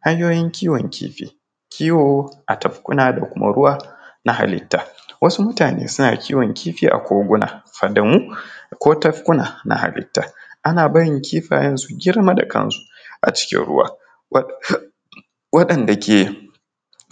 hanyoyin kiwon kifi, kiwo a tafkuna da kuma ruwa na hallita, wasu mutane suna kiwon kifi a koguna har da mu ko tafkuna na hallita ana barin kifayen su girma da kansu a cikin ruwa waɗanɗa ke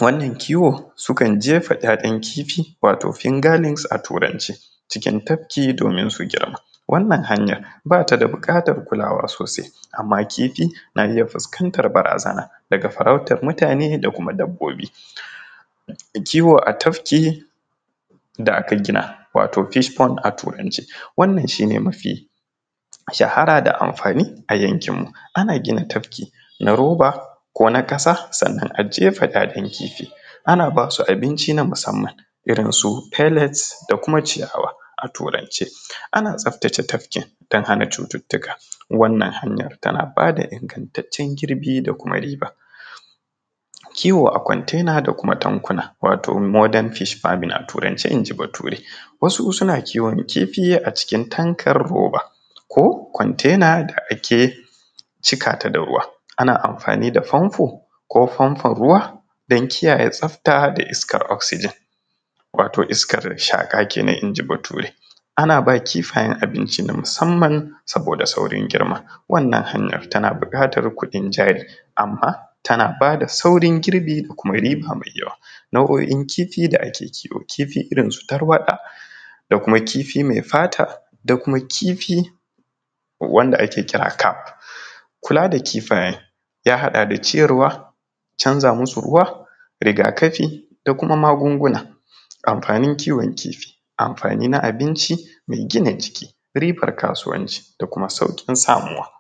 wannan kiwon sukan jefa ‘ya’yan kifi wato finger names a turance cikin tafki domin su girma wannan hanya bata da bukatar kulawa sosai amma kifi na iya fuskantar barazana daga farautar mutane da kuma dabbobi, kiwo a tafki da aka gina wato fish pound a turance wannan shi ne mafi shahara da amfani a yankinmu ana gina tafki na roba ko na kasa sannan a jefa ‘ya’yan kifi, ana basu abinci na musamman irinsu pay let da kuma ciyawa a turance, ana tsaftace tafkin don hana cututtuka waannan hanyar tana bada ingantacen girbi da kuma riba. Kiwo a contenar da kuma tankuna wato modern fish farming a turance inji bature, wasu suna kiwon kifi a cikin takar roba ko kontena da ake cika ta da ruwa ana amfani da fanfo ko fanfon ruwa don kiyaye tsafta da iskar oxygen wato iskar shaka kenan inji bature an aba kifayen abinci na musamman saboda saurin girma wannan hanyar tana bukatar kuɗin jari amma tana bada saurin girbi da kuma riba mai yawa. Nau’o’in kifi da ake kiwo kifi irinsu tarwasa da kuma kifi mai fata da kuma kifi wanda ake kira cap, kula da kifayen ya haɗa ciyarwa, canza masu ruwa, rigakafi da kuma magunguna. Amfanin kiwon kifi, amfani na abinci mai gina jiki, ribar kasuwanci da kuma saukin samuwa.